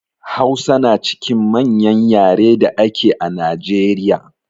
Hausa na cikin manƴan ƴare dake a Najeriƴa.